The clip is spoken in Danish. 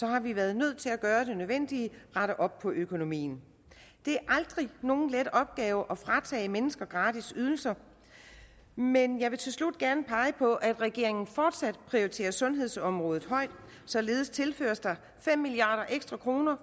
har vi været nødt til at gøre det nødvendige rette op på økonomien det er aldrig nogen let opgave at fratage mennesker gratis ydelser men jeg vil til slut gerne pege på at regeringen fortsat prioriterer sundhedsområdet højt således tilføres der fem milliard kroner